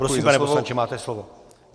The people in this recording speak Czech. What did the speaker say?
Prosím, pane poslanče, máte slovo.